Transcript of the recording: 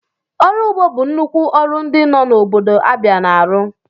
Ọrụ ụgbọ bụ nnukwu ọrụ ndị nọ n'obodo Abia na-arụ.